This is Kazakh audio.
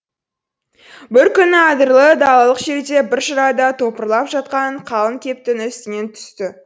бір күні адырлы далалық жерде бір жырада топырлап жатқан қалың кептің үстінен түсті